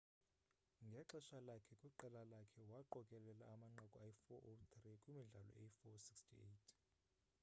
ngexesha lakhe kwiqela lakhe waqokelela amanqaku ayi 403 kwimidlalo eyi 468